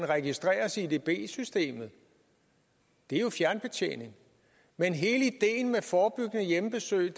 registreres i edb systemet det er jo fjernbetjening men hele ideen med forebyggende hjemmebesøg